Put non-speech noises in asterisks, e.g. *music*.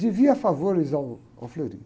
Devia favores ao, ao. *unintelligible*